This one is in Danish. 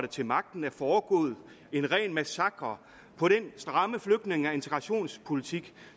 til magten er foregået en ren massakre på den stramme flygtninge og integrationspolitik